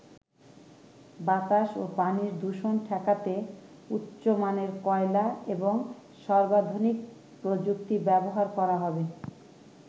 বাতাস ও পানির দূষণ ঠেকাতে উচ্চ মানের কয়লা এবং সর্বাধুনিক প্রযুক্তি ব্যবহার করা হবে।